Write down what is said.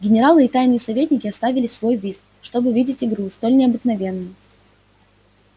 генералы и тайные советники оставили свой вист чтоб видеть игру столь необыкновенную